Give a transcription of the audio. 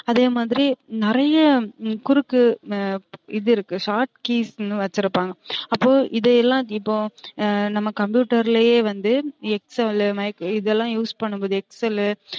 அதேமாதிரி நிறைய குறுக்கு இது இருக்கு short keys னு வச்சு இருப்பாங்க அப்போ இதெல்லாம் இப்போ நம்ம computer லயே வந்து excel mic இதெல்லாம் use பண்ணும் போது excel லு